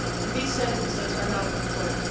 These sentences are now confirmed.